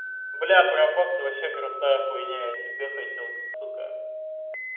бля парабокс вообще крутая хуйня я себе хотел сука